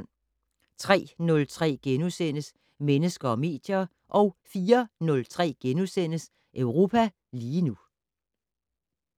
03:03: Mennesker og medier * 04:03: Europa lige nu *